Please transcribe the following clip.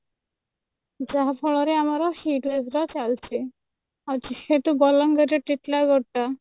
ଯାହା ଫଳରେ ଆମର hit wave ଟା ଚାଲିଛି ଆଉ ଯେହେତୁ ବଲାଙ୍ଗିର ରେ ଟିଟିଲାଗଡ ଟା